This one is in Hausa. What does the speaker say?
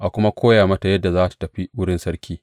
A kuma koya mata yadda za tă tafi wurin sarki.